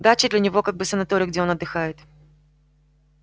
дача для него как бы санаторий где он отдыхает